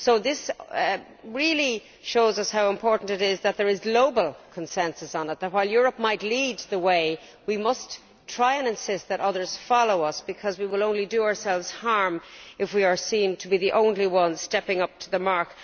This really shows us how important it is that there is global consensus on it and that, while Europe might lead the way, we must try to insist that others follow us because we will only do ourselves harm if we are seen to be the only ones stepping up to the mark.